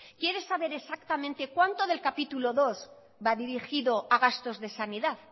quiere saber exactamente cuánto del capítulo segundo va dirigido a gastos de sanidad